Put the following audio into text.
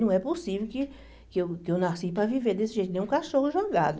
Não é possível que que eu que eu nasci para viver desse jeito, nem um cachorro jogado.